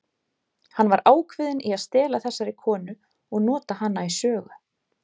Hann var ákveðinn í að stela þessari konu og nota hana í sögu.